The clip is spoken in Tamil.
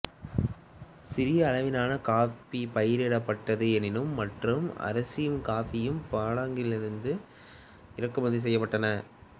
சிறிய அளவிலான காபி பயிரிடப்பட்டது எனினும் மற்றும் அரிசியும் காபியும் பாடாங்கிலிருந்து இறக்குமதி செய்யப்பட்டன